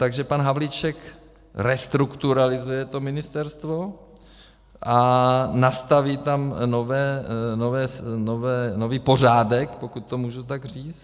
Takže pan Havlíček restrukturalizuje to ministerstvo a nastaví tam nový pořádek, pokud to můžu tak říct.